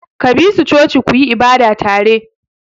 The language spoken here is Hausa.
Ka bi su coci ku yi ibada tare!